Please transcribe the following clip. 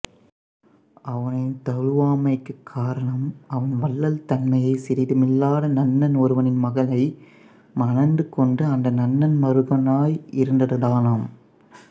அவனைத் தழுவாமைக்குக் காரணம் அவன் வள்ளல்தன்மையே சிறிதுமில்லாத நன்னன் ஒருவனின் மகளை மணந்துகொண்டு அந்த நன்னன் மருகனாய் இருந்ததுதானாம்